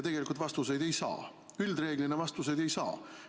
Tegelikult vastuseid ei saa, üldreeglina vastuseid ei saa.